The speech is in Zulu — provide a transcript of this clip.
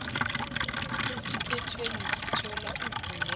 esiphethweni sithola ugule